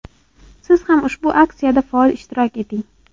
Siz ham ushbu aksiyada faol ishtirok eting.